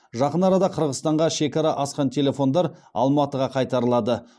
жақын арада қырғызстанға шекара асқан телефондар алматыға қайтарылады